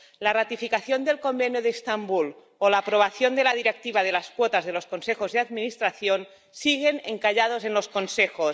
La ratificación del Convenio de Estambul o la aprobación de la Directiva sobre las cuotas en los consejos de administración siguen encalladas en los Consejos.